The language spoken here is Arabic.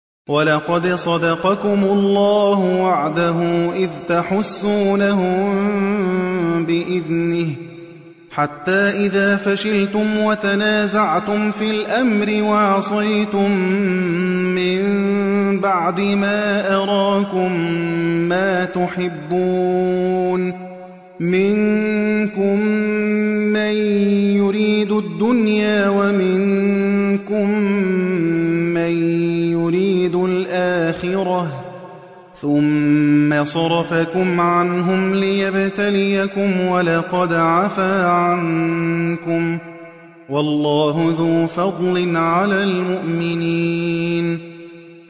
وَلَقَدْ صَدَقَكُمُ اللَّهُ وَعْدَهُ إِذْ تَحُسُّونَهُم بِإِذْنِهِ ۖ حَتَّىٰ إِذَا فَشِلْتُمْ وَتَنَازَعْتُمْ فِي الْأَمْرِ وَعَصَيْتُم مِّن بَعْدِ مَا أَرَاكُم مَّا تُحِبُّونَ ۚ مِنكُم مَّن يُرِيدُ الدُّنْيَا وَمِنكُم مَّن يُرِيدُ الْآخِرَةَ ۚ ثُمَّ صَرَفَكُمْ عَنْهُمْ لِيَبْتَلِيَكُمْ ۖ وَلَقَدْ عَفَا عَنكُمْ ۗ وَاللَّهُ ذُو فَضْلٍ عَلَى الْمُؤْمِنِينَ